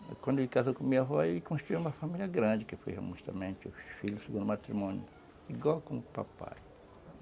Quando ele casou com minha avó, ele construiu uma família grande, que foi justamente o filho segundo matrimônio, igual com o papai.